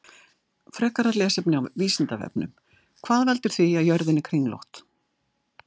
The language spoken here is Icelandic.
Frekara lesefni á Vísindavefnum: Hvað veldur því að jörðin er kringlótt?